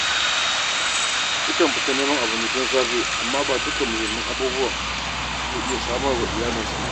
Yakan fita neman abinci tun safe, amma ba duka muhimman abubuwa yake iya samar wa iyalansa ba.